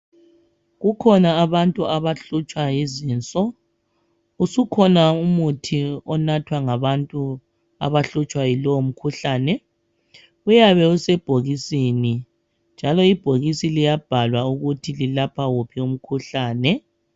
Kukhona abantu abahlutshwa yizinso usukhona umuthi onathwa ngabantu abahlutshwa yilowo mkhuhlane uyabe usebhokisini njalo ibhokisi liyabhalwa ukuthi lilapha wuphi umkhuhlane.